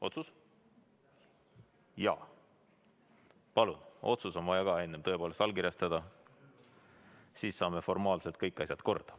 Kõigepealt on otsus vaja allkirjastada, siis saame formaalselt kõik asjad korda.